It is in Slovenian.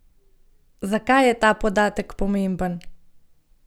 Zakaj je ta podatek pomemben?